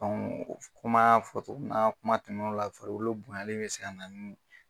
kuma fɔ togo kuma tɛmɛnen ola farikolo bonyanen bɛ se ka na nin.